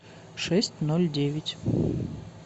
шесть ноль девять